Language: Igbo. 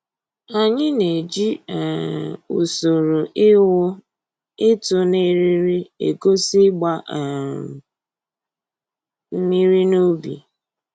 Anyị na-eji um usoro ịwụ/ịtụ na eriri egosi ịgba um mmiri n'ubi